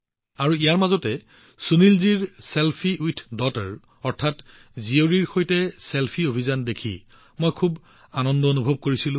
আৰু ইফালে যেতিয়া মই সুনীলজীৰ চেলফি উইথ ডটাৰ অভিযানৰ বিষয়ে জানিব পাৰিছিলো মই বৰ সুখী অনুভৱ কৰিছিলো